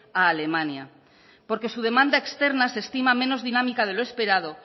a alemania porque su demanda externa se estima menos dinámica de lo esperado